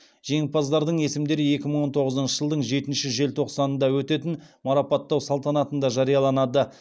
жеңімпаздардың есімдері екі мың тоғызыншы жылдың жетінші желтоқсанында өтетін марапаттау салтанатында жарияланады